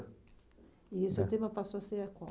E o seu tema passou a ser qual?